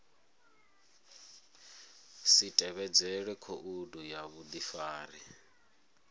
si tevhedzele khoudu ya vhudifari